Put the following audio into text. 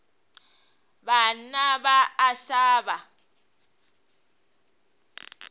banna ba a sa ba